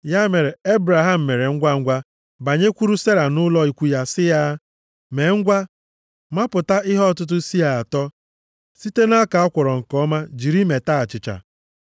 Ya mere, Ebraham mere ngwangwa banyekwuru Sera nʼụlọ ikwu ya sị ya, “Mee ngwa, mapụta ihe ọtụtụ sịa atọ + 18:6 Ya bụ ihe ruru kilogram iri na isii site na ọka a kwọrọ nke ọma jiri meta achịcha.”